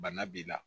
Bana b'i la